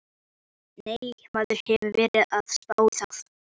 Nei, maður hefur verið að spá í það.